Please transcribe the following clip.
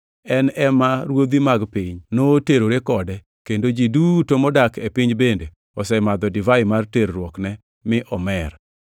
En ema ruodhi mag piny noterore kode, kendo ji duto modak e piny bende osemadho divai mar terruokne mi omer.”